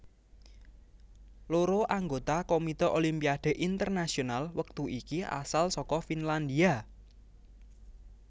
Loro anggota Komite Olimpiade Internasional wektu iki asal saka Finlandia